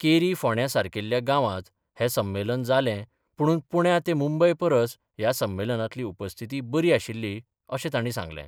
केरी फोंण्या सारकील्या गावांत हे संमेलन जाले पुणून पुण्या ते मुंबय परस या संमेलनातली उपस्थिती बरी आशिल्ली अशें ताणी सांगलें.